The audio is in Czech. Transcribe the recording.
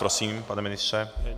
Prosím, pane ministře.